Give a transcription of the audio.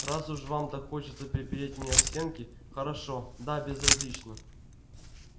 раз уж вам так хочется припереть меня к стенке хорошо да безразлично